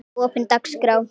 opin dagskrá